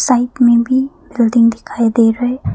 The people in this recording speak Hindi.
साइट में भी बिल्डिंग दिखाई दे रहा है।